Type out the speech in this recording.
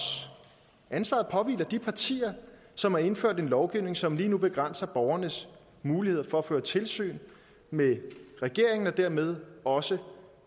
ansvaret påhviler de partier som har indført en lovgivning som lige nu begrænser borgernes muligheder for at føre tilsyn med regeringen og dermed også